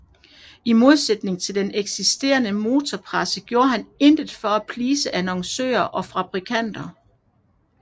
I modsætning til den eksisterende motorpresse gjorde han intet for at please annoncører og fabrikanter